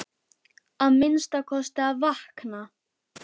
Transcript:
Að minnsta kosti að vakna.